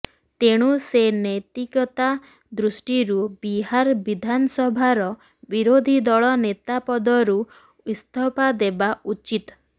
ତେଣୁ ସେ ନୈତିକତା ଦୃଷ୍ଟିରୁ ବିହାର ବିଧାନସଭାର ବିରୋଧୀ ଦଳ ନେତା ପଦରୁ ଇସ୍ତଫା ଦେବା ଉଚିତ